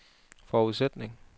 forudsætning